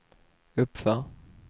uppför